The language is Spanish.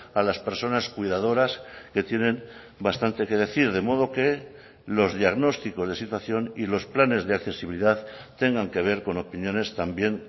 a las personas cuidadoras que tienen bastante que decir de modo que los diagnósticos de situación y los planes de accesibilidad tengan que ver con opiniones también